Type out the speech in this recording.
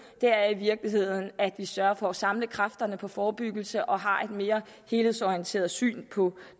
i virkeligheden er at vi sørger for at samle kræfterne på forebyggelse og har et mere helhedsorienteret syn på